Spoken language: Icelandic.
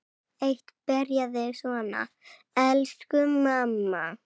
Eitt byrjaði svona: Elsku mamma!